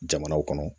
Jamanaw kɔnɔ